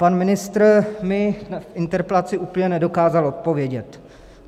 Pan ministr mi v interpelaci úplně nedokázal odpovědět.